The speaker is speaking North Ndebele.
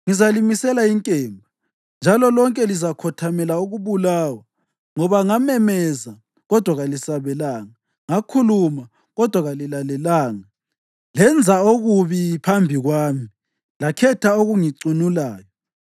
ngizalimisela inkemba, njalo lonke lizakhothamela ukubulawa, ngoba ngamemeza kodwa kalisabelanga, ngakhuluma kodwa lina kalilalelanga. Lenza okubi phambi kwami lakhetha okungicunulayo.”